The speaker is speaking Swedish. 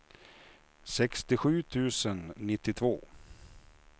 sextiosju tusen nittiotvå